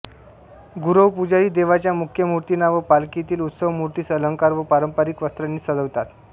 गुरवपुजारी देवाच्या मुख्य मूर्तींना व पालखीतील उत्सव मूर्तीस अलंकार व पारंपरिक वस्त्रांनी सजवितात